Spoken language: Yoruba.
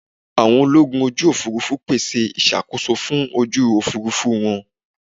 Àwọn ológun ojú Òfurufú pèsè ìṣàkóso fún ojú Òfurufú wa.